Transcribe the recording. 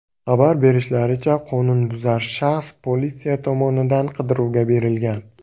Xabar berishlaricha, qonunbuzar shaxs politsiya tomonidan qidiruvga berilgan.